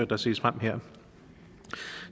der ses frem her